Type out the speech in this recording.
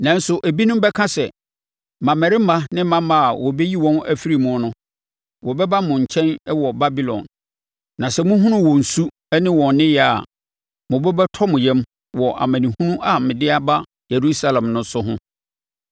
Nanso ebinom bɛka, mmammarima ne mmammaa a wɔbɛyi wɔn afiri mu no. Wɔbɛba mo nkyɛn wɔ Babilon, na sɛ mohunu wɔn su ne wɔn nneyɛɛ a, mo bo bɛtɔ mo yam wɔ amanehunu a me de aba Yerusalem so no ho.